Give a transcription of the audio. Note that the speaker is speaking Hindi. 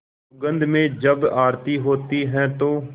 सुगंध में जब आरती होती है तो